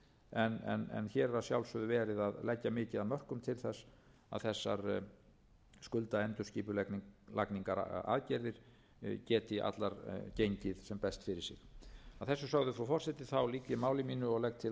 en hér er að sjálfsögðu verið að leggja mikið af mörkum til þess að þessar skuldaendurskipulagningaraðgerðir geti allar gengið sem best fyrir sig að þessu sögðu frú forseti lýk ég máli mínu og legg til að